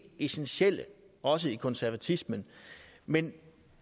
essentielle også i konservatismen men